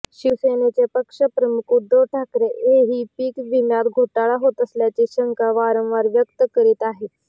शिवसेनेचे पक्षप्रमुख उद्धव ठाकरे हेही पीकविम्यात घोटाळा होत असल्याची शंका वारंवार व्यक्त करीत आहेत